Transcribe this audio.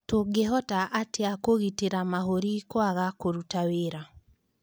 Tũngĩhota atĩa kũgitĩra mahũri kũaga kũruta wĩra